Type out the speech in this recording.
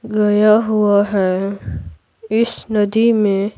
गया हुआ है इस नदी में --